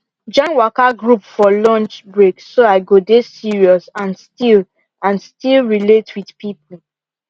join waka group for lunch break so i go dey serious and still and still relate with people